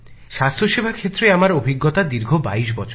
স্বাস্থ্যসেবা ক্ষেত্রে আমার অভিজ্ঞতা দীর্ঘ বাইশ বছরের